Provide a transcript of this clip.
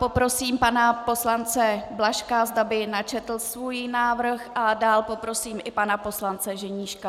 Poprosím pana poslance Blažka, zda by načetl svůj návrh, a dál poprosím i pana poslance Ženíška.